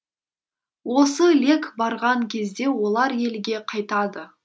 осы лек барған кезде олар елге қайтады